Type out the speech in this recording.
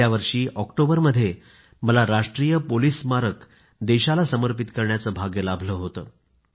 गेल्यावर्षी ऑक्टोबरमध्ये मला राष्ट्रीय पोलिस स्मारक देशाला समर्पित करण्याचं भाग्य लाभलं होतं